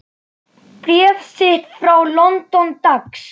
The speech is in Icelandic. Bréf þitt frá London, dags.